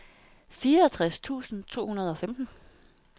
fireogtres tusind to hundrede og femten